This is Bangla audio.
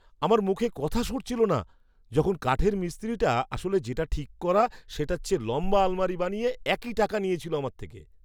আমার মুখে কথা সরছিল না যখন কাঠের মিস্ত্রিটা আসলে যেটা ঠিক করা সেটার চেয়ে লম্বা আলমারি বানিয়ে একই টাকা নিয়েছিল আমার থেকে!